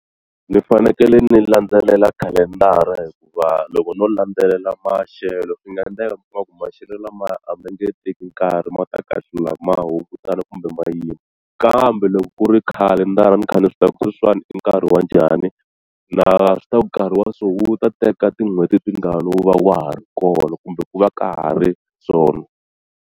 Ndzi fanekele ndzi landzelela khalendara hikuva loko no landzelela maxelo swi nga endleka mi kuma ku maxelo lama a ma nge teki nkarhi ma ta kahlula ma hungutana kumbe ma yima kambe loko ku ri khalendara ni kha ni swi tiva ku sweswiwani i nkarhi wa njhani na swi tiva ku nkarhi wa so wu ta teka tin'hweti tingani wu va wa ha ri kona kumbe ku va ka ha ri swona.